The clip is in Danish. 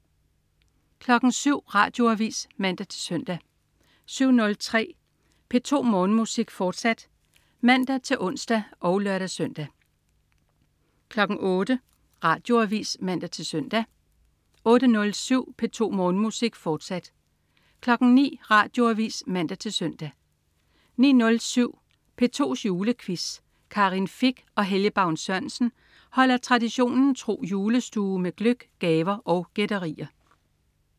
07.00 Radioavis (man-søn) 07.03 P2 Morgenmusik, fortsat (man-ons og lør-søn) 08.00 Radioavis (man-søn) 08.07 P2 Morgenmusik, fortsat 09.00 Radioavis (man-søn) 09.07 P2's Julequiz. Karin Fich og Helge Baun Sørensen holder traditionen tro julestue med gløgg, gaver og gætterier